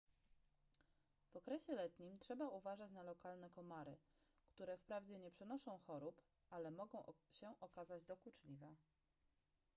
w okresie letnim trzeba uważać na lokalne komary które wprawdzie nie przenoszą chorób ale mogą się okazać dokuczliwe